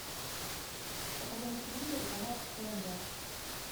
покажи на телевизоре канал тнв